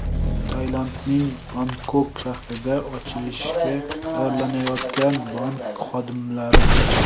Tailandning Bangkok shahrida ochilishga tayyorlanayotgan bank xodimlari.